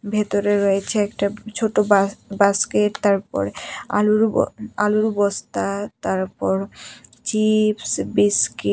ভেতরে রয়েছে একটা ছোট বাস-বাস্কেট তারপরে আলুর ব আলুর বস্তা তারপর চিপস বিস্কি--